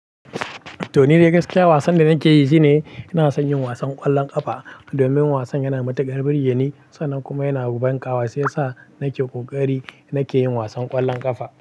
To ni dagaskiya wasan da nake yi shi ne ina son yin wasan ƙwallon ƙafa domin wasan yana da matuƙar buri, yana yi sannan kuma yana da banƙawa shiyasa nake ƙoƙari nake yin wasan ƙwallon ƙafa.